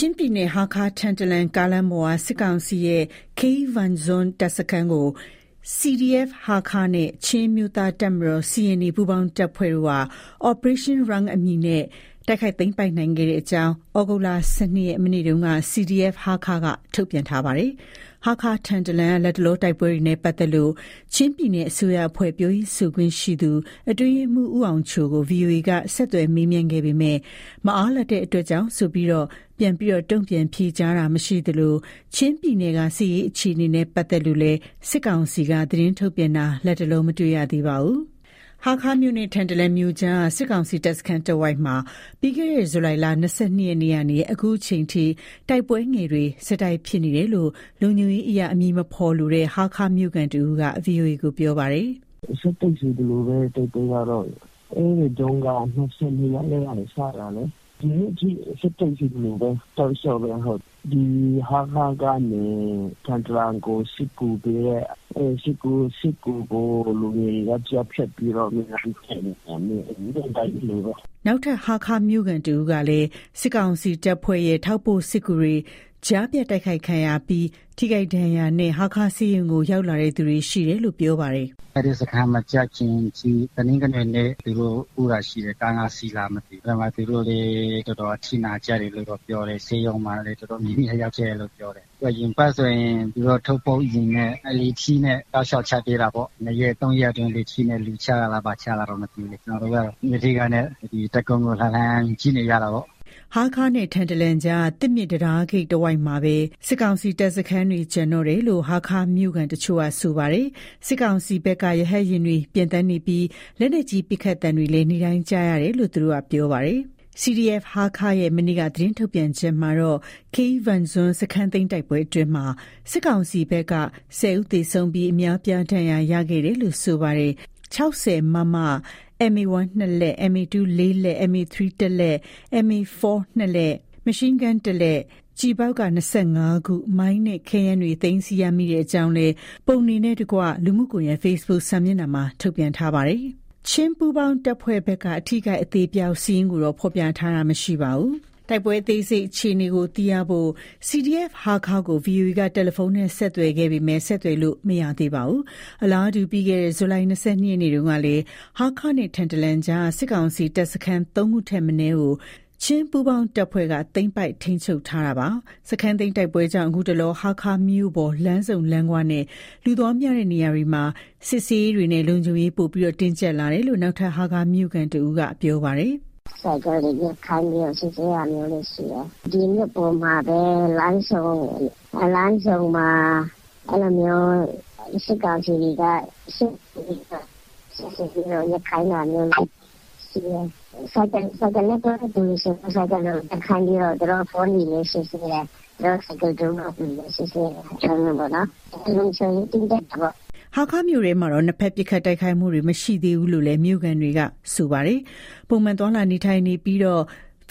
ချင်းပြည်နယ် ဟားခါး-ထန်တလန် ကားလမ်းပေါ်က စစ်ကောင်စီရဲ့ Keivangzuan တပ်စခန်းကို CDF ဟားခါးနဲ့ ချင်းအမျိုးသားတပ်မတော်(CNA) ပူးပေါင်းတပ်ဖွဲ့တို့က Operation Rung အမည်နဲ့ တိုက်ခိုက်သိမ်းပိုက်နိုင်ခဲ့ကြောင်း သြဂုတ်လ ၁၂ ရက် မနေ့က CDF ဟားခါးက ထုတ်ပြန်ထားပါတယ်။ ဟားခါး-ထန်တလန်လမ်းက လတ်တလော တိုက်ပွဲနဲ့ ပတ်သက်လို့ ချင်းပြည်နယ် အစိုးရအဖွဲ့ ပြောရေးဆိုခွင့်ရှိသူ အတွင်းရေးမှူး ဦးအောင်ချိုကို VOA က ဆက်သွယ်မေးမြန်းခဲ့ပေမယ့်လည်း မအားလပ်တဲ့အတွက်ကြောင့်ဆိုပြီး ဖြေကြားခြင်းမရှိသလို၊ ချင်းပြည်နယ်က စစ်ရေး အခြေအနေနဲ့ ပတ်သက်လို့လည်း စစ်ကောင်စီက သတင်းထုတ်ပြန်တာ လတ်တလော မတွေ့ရပါဘူး။ ဟားခါးမြို့နဲ့ ထန်တလန်မြို့ကြားက စစ်ကောင်စီ တပ်စခန်းတဝိုက်မှာ ပြီးခဲ့တဲ့ ဇူလိုင်လ ၂၂ ရက်နေ့ကနေ အခုချိန်ထိတိုက်ပွဲငယ်တွေ ဆက်တိုက် ဖြစ်ပွားနေတယ်လို့ လုံခြုံရေးအရ အမည်မဖေါ်လိုတဲ့ ဟားခါးမြို့ခံတဦးက ဗွီအိုအေကို ပြောပါတယ်။ “ဆက်တိုက်ဆိုသလိုပဲ တိုက်ပွဲကတော့ အဲ့ဒီတုန်းက ၂၂ ရက်နေ့ကနေ စတာလေး၊ ဒီနေ့အထိ ဆက်တိုက်ဆိုသလိုပဲ တောက်လျှောက်ပဲ ဟုတ်။ ဒီဟားခါးကနေ ထန်တလန်ကို စစ်ကူးပေးတဲ့ အဲ့စစ်ကူးကို လူငယ်တွေက ကြားဖြတ်ပြီးတော့ နေ့တိုင်းတိုက်နေတာ နေ့တိုင်းလိုလိုပဲ ဒါကတော့ ဖြစ်တယ်။” နောက်ထပ် ဟားခါးမြို့ခံတဦးကလည်း စစ်ကောင်စီတပ်ဖွဲ့ရဲ့ ထောက်ပို့စစ်ကူတွေ ကြားဖြတ်တိုက်ခိုက်ခံရပြီး ထိခိုက်ဒဏ်ရာနဲ့ ဟားခါးဆေးရုံကို ရောက်လာသူတွေ ရှိတယ်လို့ ပြောပါတယ်။ “အဲ့ဒီစခန်းမကျခင်အထိ တနင်္ဂနွေနေ့က သူတို့(ထောက်ပို့)ပို့တာရှိတယ်၊ ကား ၅စီးလား မသိဘူး။ အဲ့ဘက်မှာ သူတို့လည်း တော်တော်အထိနာကြတယ်လို့တော့ ပြောတယ်၊ ဆေးရုံမှာလည်း တော်တော်များများရောက်ခဲ့တယ်လို့ ပြောတယ်။ အရင်အပတ်ကဆိုရင် သူတို့ ထောက်ပို့ယာဉ်နဲ့ လေထီးနဲ့ တောက်လျှောက်ချသေးတာပေါ့၊ ၂ရက် ၃ရက်အတွင်း လေထီးနဲ့ လူချတာလား ဘာချတာတော့ မသိဘူးလေ၊ ကျနော်တို့က တပ်ကုန်းကို လှမ်းလှမ်းကြည့်နေရတာပေါ့။” ဟားခါးနဲ့ ထန်တလန်ကြားက သစ်မြစ်တံတားဂိတ်တဝိုက်မှာပဲ စစ်ကောင်စီတပ်စခန်းတွေ ကျန်တော့တာလို့ ဟားခါးမြို့ခံတချို့က ဆိုပါတယ်။ စစ်ကောင်စီဘက်က ရဟတ်ယာဉ်တွေ ပျံသန်းနေပြီး လက်နက်ကြီး ပစ်ခတ်သံတွေလည်း နေ့တိုင်းကြားနေရတယ်လို့ သူတို့က ပြောပါတယ်။ CDF ဟားခါး ရဲ့ မနေ့က သတင်းထုတ်ပြန်ချက်မှာတော့- Keivangzuan စခန်းသိမ်းတိုက်ပွဲအတွင်းမှာ စစ်ကောင်စီဘက်က ၁၀ ဦးသေဆုံးပြီး အများအပြားဒဏ်ရာ ရရှိခဲ့တယ်လို့ ဆိုပါတယ်။ ၆၀ မမ ၊ MA 1 နှစ်လက်၊ MA 2 လေးလက်၊ MA 3 တစ်လက်၊ MA 4 နှစ်လက် ၊ Machin gun တစ်လက်၊ ကျည်ဘောက် ၂၅ ခု၊ မိုင်း နဲ့ ခဲယမ်းများ သိမ်းဆည်းရမိကြောင်း ပုံနှင့်တကွ လူမှုကွန်ရက် Facebook စာမျက်နှာမှာ ထုတ်ပြန်ထားပါတယ်။ ချင်းပူးပေါင်းတပ်ဖွဲ့ဘက်က အထိအခိုက်အသေအပျောက် စာရင်းကိုတော့ ဖော်ပြထားတာမရှိပါဘူး။ တိုက်ပွဲအသေးစိတ်အခြေအနေကို သိရဖို့ CDF ဟားခါးကို VOA က တယ်လီဖုန်းနဲ့ ဆက်သွယ်ခဲ့ပေမယ့် ဆက်သွယ်လို့ မရသေးပါဘူး။ အလားတူ ပြီးခဲ့တဲ့ ဇူလိုင် ၂၂ နေ့တုန်းကလည်း ဟားခါးနဲ့ ထန်တလန်ကြားက စစ်ကောင်စီတပ်စခန်း ၃ ခုထပ်မနည်းကို ချင်းပူးပေါင်းတပ်ဖွဲ့က သိမ်းပိုက်ထိန်းချုပ်ထားတာပါ။ စခန်းသိမ်းတိုက်ပွဲကြောင့် ခုတလော ဟားခါးမြို့ပေါ် လမ်းဆုံလမ်းခွနဲ့ လူသွားများတဲ့ နေရာတွေမှာ စစ်ဆေးရေးတွေနဲ့ လုံခြုံရေးပိုမိုတင်းကြပ်လာတယ်လို့ နောက်ထပ် ဟားခါးမြို့ခံတဦးက အ ခုလို ပြောပါတယ်။ “ဆိုင်ကယ်တွေ ရပ်ခိုင်းပြီးတော့ စစ်ဆေးတာမျိုးတွေ ရှိတယ်။ ဒီမြို့ပေါ်မှာပဲ လမ်းဆုံမှာ အဲ့လိုမျိုး စစ်ကောင်စီတွေက စစ်ဆေးပြီးတော့ ရပ်ခိုင်းတာမျိုးရှိတယ်။ ဆိုင်ကယ်နဲ့သွားတဲ့သူတွေဆို ဆိုင်ကယ်ရပ်ခိုင်းပြီးတော့ သူတို့ အဖုံးတွေ စစ်ဆေးတာမျိုးပေါ့နော်။ လုံခြုံရေးတင်းကြပ်တယ်ပေါ့နော်။” ဟားခါးမြို့တွင်းမှာတော့ နှစ်ဖက်ပစ်ခတ်တိုက်ခိုက်မှုတွေ မရှိသေးဘူးလို့လည်း မြို့ခံတွေက ဆိုပါတယ်။ ပုံမှန်သွားလာနေထိုင်နေကြပြီး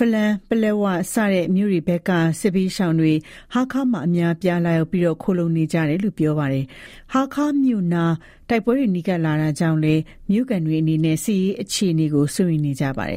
ဖလမ်း၊ ပလက်ဝ စတဲ့ မြို့တွေဘက်က စစ်ဘေးရှောင်တွေ ဟားခါးမှာ အများအပြား လာရောက်ခိုလှုံနေကြတာလို့ ပြောပါတယ်။ ဟားခါးမြို့နား တိုက်ပွဲတွေ နီးကပ်လာတာကြောင့်လည်း မြို့ခံတွေအနေနဲ့ စစ်ရေးအခြေအနေကို စိုးရိမ်နေကြပါတယ်